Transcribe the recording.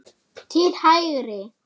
til hægri